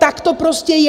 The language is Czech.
Tak to prostě je!